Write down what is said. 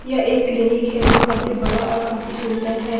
यह एक क्लिनिक है जो काफी बड़ा और काफी सुंदर है।